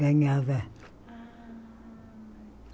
Ganhava.